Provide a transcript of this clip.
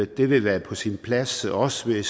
det ville være på sin plads også